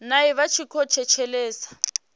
nae vha tshi khou thetshelesa